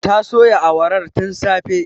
Ta soya awarar tin safe